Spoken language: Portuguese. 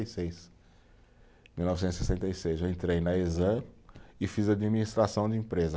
E seis, mil novecentos e sessenta e seis eu entrei na e fiz administração de empresa.